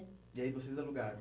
E aí vocês alugaram?